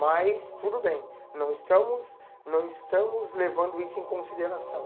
Mas tudo bem, não estamos não estamos levando isso em consideração.